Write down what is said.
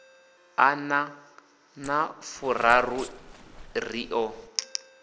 ḓana na furaru ri ḓo